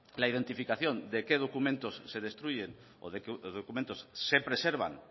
la identificación de qué documentos se destruyen o de qué documentos se preservan